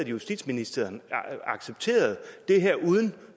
justitsministeren accepterede det her uden